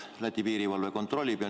Läti piirivalve kontrollib hoolega.